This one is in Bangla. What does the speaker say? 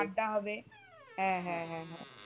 আড্ডা হবে হ্যাঁ হ্যাঁ হ্যাঁ